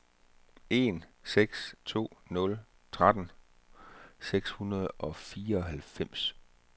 en seks to nul tretten seks hundrede og fireoghalvfems